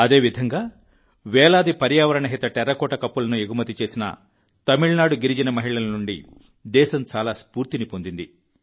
అదేవిధంగా వేలాది పర్యావరణ హిత టెర్రకోట కప్పులను ఎగుమతి చేసిన తమిళనాడు గిరిజన మహిళల నుండి దేశం చాలా స్ఫూర్తిని పొందింది